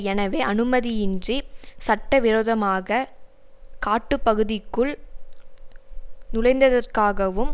எனவே அனுமதியின்றி சட்ட விரோதமாக காட்டு பகுதிக்குள் நுழைந்ததற்காவும்